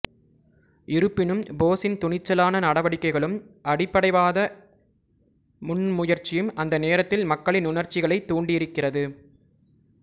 இருப்பினும் போஸின் துணிச்சலான நடவடிக்கைகளும் அடிப்படைவாத முன்முயற்சியும் அந்த நேரத்தில் மக்களின் உணர்ச்சிகளைத் தூண்டியிருக்கிறது